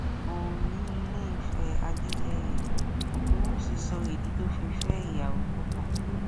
oòní ilé ìfẹ adéyẹyẹ ògúnwúsì sọ ìdí tó fi fẹ ìyàwó púpọ